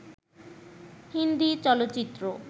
হিন্দি চলচ্চিত্র